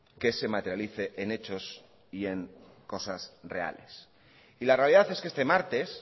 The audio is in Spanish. que se materialice en hechos y en cosas reales y la realidad es que este martes